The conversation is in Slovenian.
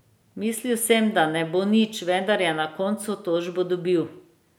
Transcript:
Mislil sem, da ne bo nič, vendar je na koncu tožbo dobil.